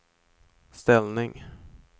ställning